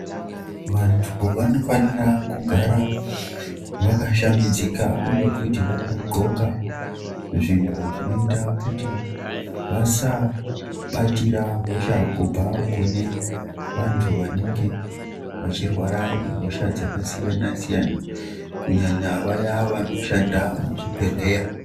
Vantu vanofanira kugara vakashambidzika uye futi vakandxoka zvintu zvinoita kuti vasabatira hosha kubva kune vantu vanenge vechirwara ngehosha dzakasiyana siyana kunyanya vaya vanoshanda muzvibhedhleya.